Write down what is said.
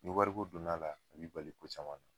Ni wari ko donna a la, a b'i bali ko caman na.